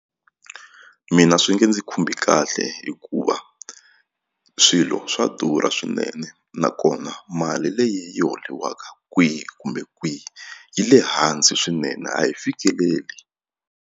Mina swi nge ndzi khumbi kahle hikuva swilo swa durha swinene nakona mali leyi yi holiwaka kwihi kumbe kwihi yi le hansi swinene a yi fikeleli.